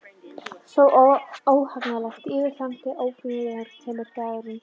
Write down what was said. Svo, óhagganlega, óbifanlega, óumflýjanlega kemur dagurinn.